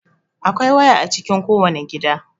Akwai waya a cikin kowane gida.